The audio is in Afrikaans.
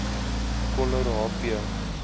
coller h p